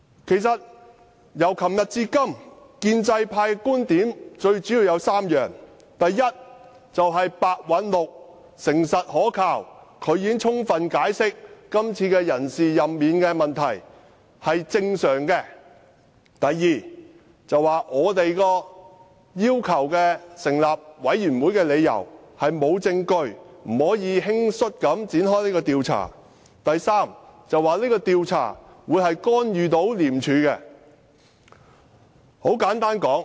這兩天，建制派議員表達的觀點主要有3點：第一，白韞六誠實可靠，他已充分解釋，今次人事任免是正常的做法；第二，我們要求成立專責委員會的理由沒有證據支持，不可輕率地展開這項調查；第三，這項調查會干預廉署。